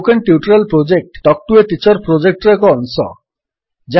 spoken tutorial project talk to a teacher ପ୍ରୋଜେକ୍ଟର ଏକ ଅଂଶ